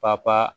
Papa pa